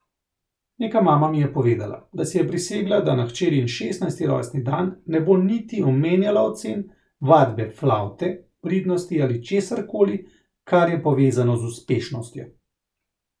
Neka mama mi je povedala, da si je prisegla, da na hčerin šestnajsti rojstni dan ne bo niti omenjala ocen, vadbe flavte, pridnosti ali česarkoli, kar je povezano z uspešnostjo.